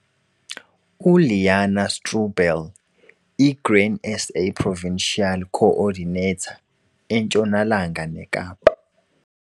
U-Liana Stroebel, i-Grain SA Provincial Co-ordinator, eNtshonalanga neKapa.